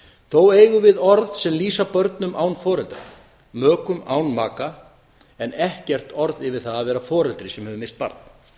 þó eigum við orð sem lýsa börnum án foreldra mökum án maka en ekkert orð yfir það að vera foreldri sem hefur misst barn